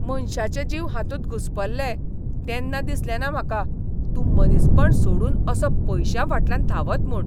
मनशांचे जीव हातूंत घुस्पल्ले तेन्ना दिसलें ना म्हाका तूं मनीसपण सोडून असो पयशांफाटल्यान धांवत म्हूण.